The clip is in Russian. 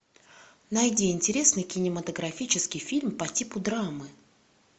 найди интересный кинематографический фильм по типу драмы